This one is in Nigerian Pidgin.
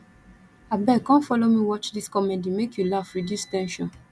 abeg come folo me watch dis comedy make you laugh reduce ten sion